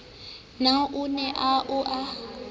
na o ne o a